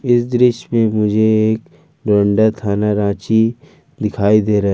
इस दृश्य मे मुझे एक डोरंडा थाना रांची दिखाई दे रहा--